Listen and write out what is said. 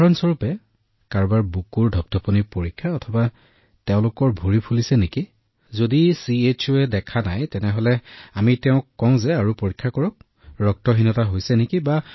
উদাহৰণ স্বৰূপে কাৰোবাৰ বুকু পৰীক্ষা কৰিব লাগে যদি তেওঁৰ ভৰি ফুলিছে নে নাই যদি চিঅয়ে ইয়াক দেখা নাই তেন্তে আমি তেওঁক গৈ চাবলৈ কওঁ যে ফুলিছে নে নাই